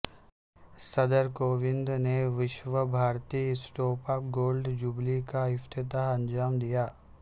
صدر کووند نے وشوا بھارتی اسٹوپا گولڈ جوبلی کا افتتاح انجام دیا